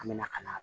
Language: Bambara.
An bɛna ka na